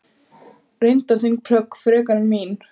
Reyndar þín plögg frekar en mín.